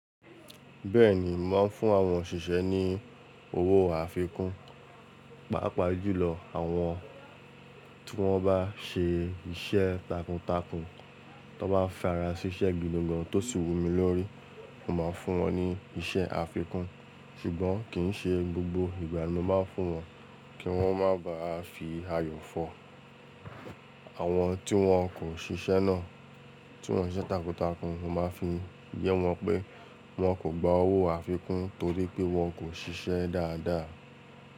Bẹ́ẹ̀ni, màá ń fún àwọn òṣìṣẹ́ ní owó àfikún, pàápàá jùlọ àwọn tí wọ́n bá ṣe iṣẹ́ takuntakun, tí wọ́n bá farasiṣẹ gidi gan-an tó sì wu mi lórí, màá fún wọn ní iṣẹ́ àfikún. Ṣùgbọ́n kì í ṣe gbogbo ìgbà ni màá fún wọn, kí wọ́n má bàá fi ayọ̀ fọ. Àwọn tí wọn kò ṣiṣẹ́ náà, tí wọn ṣiṣẹ́ takuntakun, màá fi yé wọn pé wọ́n kò gba owó àfikún torí pé wọn kò ṣiṣẹ́ dáadáa.